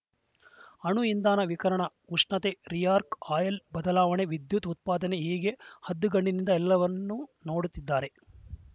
ಅಣು ಇಂಧನ ವಿಕಿರಣ ಉಷ್ಣತೆ ರಿಯಾಕ್ಟರ್‌ ಆಯಿಲ್‌ನಲ್ಲಿ ಬದಲಾವಣೆ ವಿದ್ಯುತ್‌ ಉತ್ಪಾದನೆ ಹೀಗೆ ಹದ್ದಿನಗಣ್ಣಿನಿಂದ ಎಲ್ಲವನ್ನೂ ನೋಡುತ್ತಿದ್ದಾರೆ